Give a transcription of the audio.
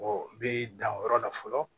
i bi dan o yɔrɔ la fɔlɔ